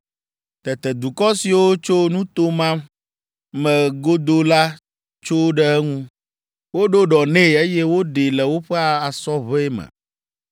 Tete dukɔ siwo tso nuto ma me godoo la tso ɖe eŋu. Woɖo ɖɔ nɛ, eye woɖee le woƒe asɔʋe me.